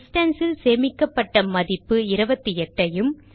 distance ல் சேமிக்கப்பட்ட மதிப்பு 28 ஐயும்